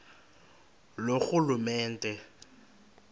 loorhulumente